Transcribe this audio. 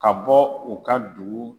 Ka bɔ u ka dugu.